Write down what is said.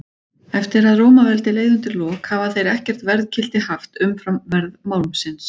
Eftir að Rómaveldi leið undir lok hafa þeir ekkert verðgildi haft umfram verð málmsins.